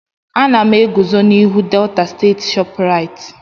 Ana m eguzo n'ihu Delta state Shoprite.